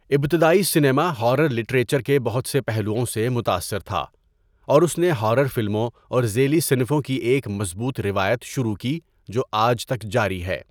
ابتدائی cinema horror literature کے بہت سے پہلوؤں سے متاثر تھا اور اس نے ہارر فلموں اور ذیلی صنفوں کی ایک مضبوط روایت شروع کی جو آج تک جاری ہے۔